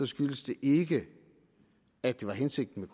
skyldes det ikke at det var hensigten